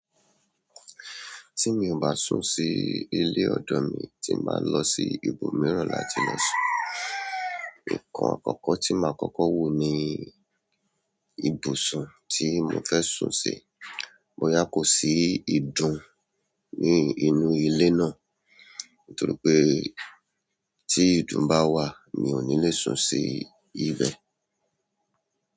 Tí mi ò bá sùn sí ilé ọ̀dọ̀ mi, tí n màá lọ sí ibòmíràn láti lọ sùn. Ǹkan àkọ́kọ́ tí màá kọ́kọ́ wò ni ibùsùn tí mo fẹ́ sùn sí. Bo yá kò sí ìdun ní inú ilé náà, nítorí pé tí ìdun bá wà, mi ò ní le sùn sí ibẹ̀.